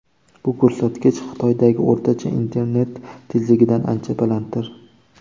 Bu ko‘rsatkich Xitoydagi o‘rtacha internet tezligidan ancha balanddir.